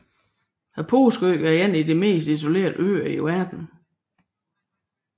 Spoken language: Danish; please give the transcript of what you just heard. Påskeøen er en af de mest isolerede øer i verden